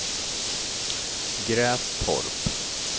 Grästorp